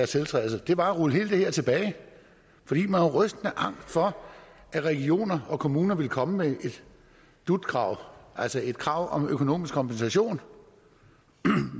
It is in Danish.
tiltrædelse var at rulle alt det tilbage fordi man var rystende angst for at regioner og kommuner ville komme med et dut krav altså et krav om økonomisk kompensation